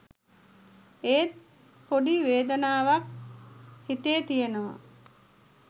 ඒත් ‍පොඩි වේදනාවක් හිතේ තියෙනවා